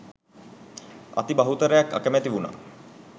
අති බහුතරයක් අකමැති වුණා